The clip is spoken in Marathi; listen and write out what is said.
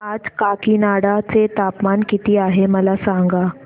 आज काकीनाडा चे तापमान किती आहे मला सांगा